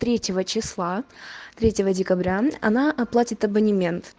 третьего числа третьего декабря она оплатит абонемент